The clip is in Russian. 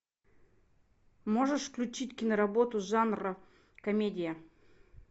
можешь включить киноработу жанра комедия